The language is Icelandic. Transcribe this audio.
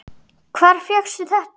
Hvar fékkstu þetta?